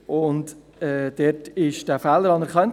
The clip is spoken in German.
Dort wurde dieser Fehler erkannt.